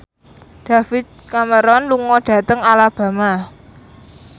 David Cameron lunga dhateng Alabama